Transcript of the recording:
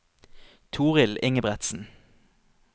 Torill Ingebretsen